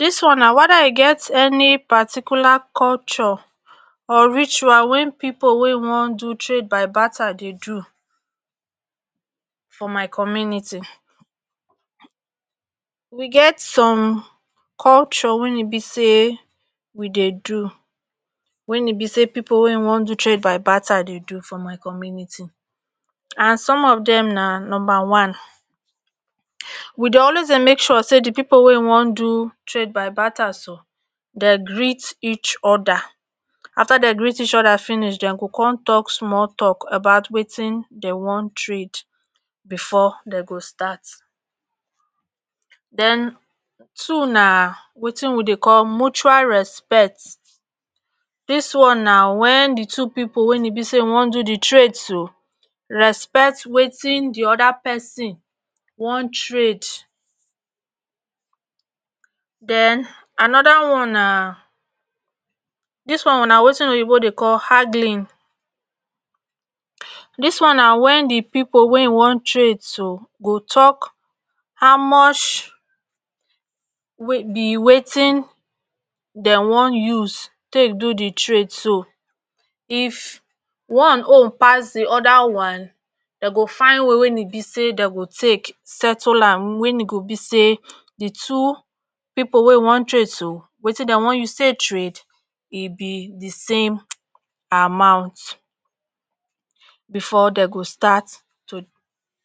dis one na wada e get eni particular culture or ritual wen pipo wey wan do trade by batter dey do for my community we get some culture wen e be say we dey do wen e be say pipo wey wan do trade by battar dey do for my community and some of dem na numba one, we doy always dey make sure say di pipo wey wan do trade by battar so den greet each oda after den greet each oda finish den go con tok small tok about wtin den wan trade bfor den go start. den two na watin we dey call mutual respet dis one na wen di two pipo weyn e be say wan do di trade tu respet watin di oda person wan trade. den anoda one na dis one na watin oyibo dey call hadilin, dis one na wen di pipo wey wan trade so go tok how much wey be watin den wan use take do di trade so if one own pass di oda one den go fain way wey e be say den go take settle am weyn e go be say di two pipo wey wan trade so watin den wan use take trade e be di same {um) amount bfor den go start tu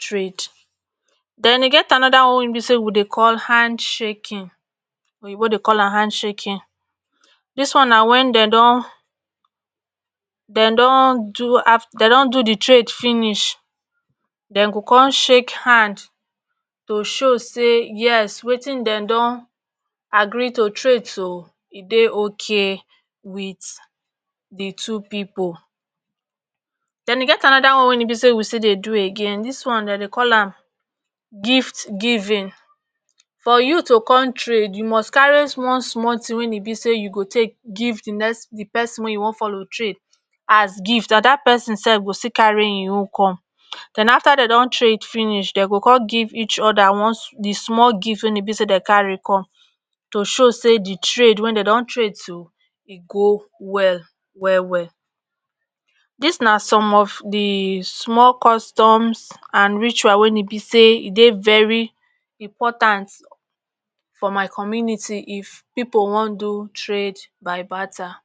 trade. den e get anoda one wen e be say we dey call hand shaking oyibo dey call an hand shaking dis one na wen den don den don do aft den don do di trade finish den go con shake hand to show say yes watin den don agree to trade so e dey okay wit di two pipo. den e get anoda one weyn e be say we still dey do again dis one dn dey call an gift giving for you tu con trade you must carry small small tin wey e be say you go take giv di nexs di person wey you wan follow trade as gift and dat pesin sef go still carry e own com. den after den don trade finish den go con give each oda one di small gift weyn e be say den carry com to show say di trade wen den don trade so e go well well well dis na som of di small customs and ritual wen e be say dey very important for my community if pipo wan do trade by bartar